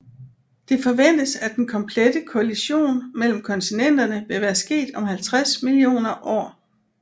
Det forventes at den komplette kollition mellem kontinenterne vil være sket om 50 millioner år